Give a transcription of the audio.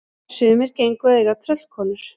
Sumir gengu að eiga tröllkonur.